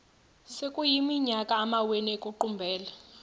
sekuyiminyaka amawenu ekuqumbele